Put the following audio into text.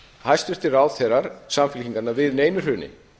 hæstvirtir ráðherrar samfylkingarinnar við neinu hruni